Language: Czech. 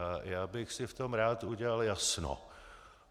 A já bych si v tom rád udělal jasno.